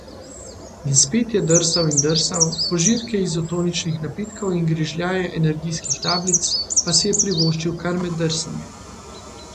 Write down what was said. In spet je drsal in drsal, požirke izotoničnih napitkov in grižljaje energijskih tablic pa si je privoščil kar med drsanjem.